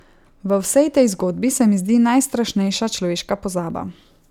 V vsej tej zgodbi se mi zdi najstrašnejša človeška pozaba.